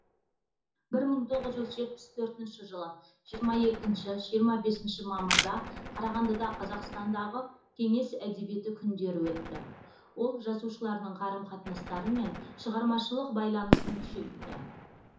бір мың тоғыз жүз жетпіс төртінші жылы жиырма екінші жиырма бесінші мамырда қарағандыда қазақстандағы кеңес әдебиеті күндері өтті ол жазушылардың қарым қатынастары мен шығармашылық байланысын күшейтті